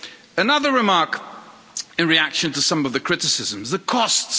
Another remark in reaction to some of the criticisms the costs.